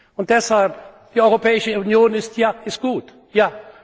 aber! Und deshalb Die Europäische Union ist